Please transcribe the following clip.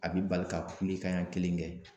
A bɛ bali ka kule kan ɲɛ kelen kɛ.